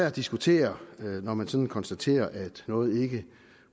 at diskutere når man sådan konstaterer at noget ikke